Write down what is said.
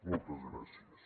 moltes gràcies